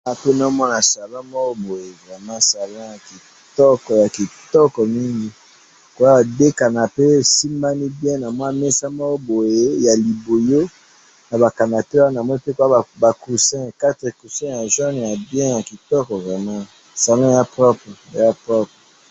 Nazo mona salon moko boye vraiment salon ya kitoko, ya kitoko mingi, koa na deux canape esimbani bien na mua mesa moko boye ya libuyu ,na ba canape wana namoni ba coussins ,quatre coussins ya jaune ,ya kitoko vraiment ,salon eza propre, eza propre